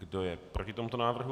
Kdo je proti tomuto návrhu?